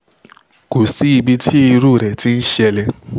kò sí ibi tí irú rẹ̀ ti ń ṣẹlẹ̀